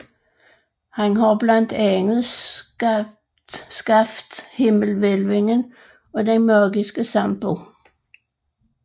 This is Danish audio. Han har blandt andet skabt himmelhvælvingen og den magiske sampo